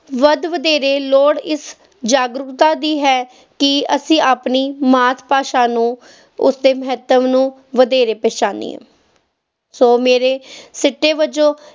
ਵੱਧ ਵਧੇਰੇ ਲੋੜ ਇਸ ਜਾਗਰੂਕਤਾ ਦੀ ਹੈ ਕਿ ਅਸੀਂ ਆਪਣੀ ਮਾਤ ਭਾਸ਼ਾ ਨੂੰ ਉਸਦੇ ਮਹੱਤਵ ਨੂੰ ਵਧੇਰੇ ਪਹਿਚਾਣੀਏ, ਸੋ ਮੇਰੇ ਸਿੱਟੇ ਵਜੋਂ